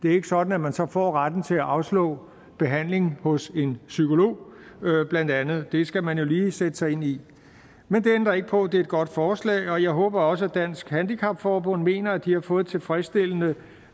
er sådan at man så får retten til at afslå behandling hos en psykolog blandt andet det skal man jo lige sætte sig ind i men det ændrer ikke på at det er et godt forslag jeg håber også at dansk handicap forbund mener at de har fået et tilfredsstillende